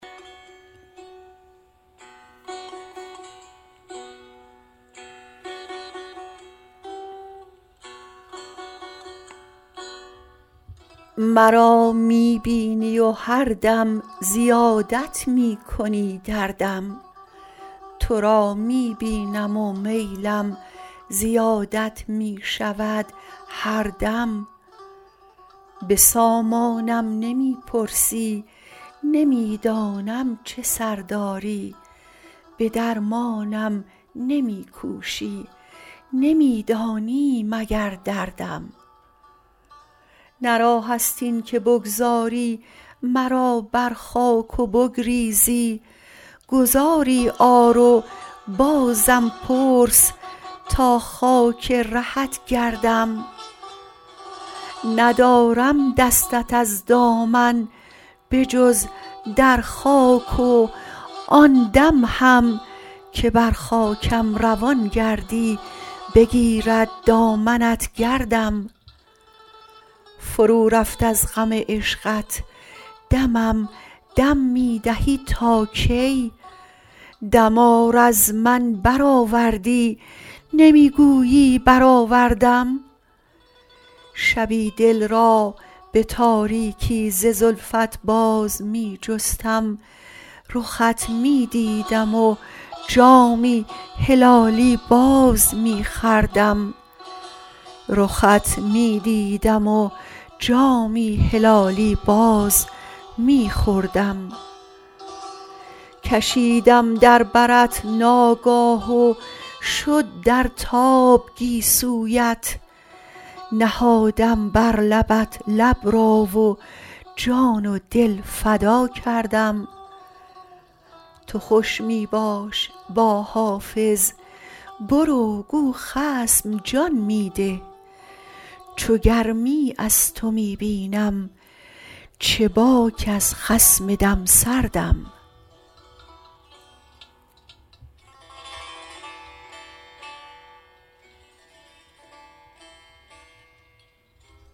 مرا می بینی و هر دم زیادت می کنی دردم تو را می بینم و میلم زیادت می شود هر دم به سامانم نمی پرسی نمی دانم چه سر داری به درمانم نمی کوشی نمی دانی مگر دردم نه راه است این که بگذاری مرا بر خاک و بگریزی گذاری آر و بازم پرس تا خاک رهت گردم ندارم دستت از دامن به جز در خاک و آن دم هم که بر خاکم روان گردی بگیرد دامنت گردم فرو رفت از غم عشقت دمم دم می دهی تا کی دمار از من برآوردی نمی گویی برآوردم شبی دل را به تاریکی ز زلفت باز می جستم رخت می دیدم و جامی هلالی باز می خوردم کشیدم در برت ناگاه و شد در تاب گیسویت نهادم بر لبت لب را و جان و دل فدا کردم تو خوش می باش با حافظ برو گو خصم جان می ده چو گرمی از تو می بینم چه باک از خصم دم سردم